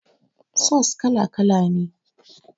Sos kala kala ne